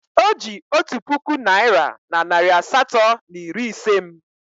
Oji otu puku naira na narị asatọ na iri ise m.